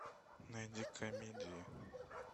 найди комедии